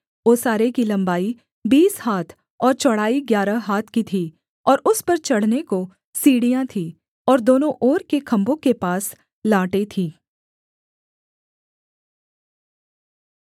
ओसारे की लम्बाई बीस हाथ और चौड़ाई ग्यारह हाथ की थी और उस पर चढ़ने को सीढ़ियाँ थीं और दोनों ओर के खम्भों के पास लाटें थीं